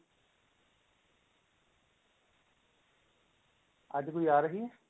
ਅੱਜ ਕੋਈ ਆ ਰਹੀ ਹੈ